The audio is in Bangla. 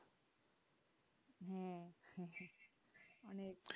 হ্যাঁ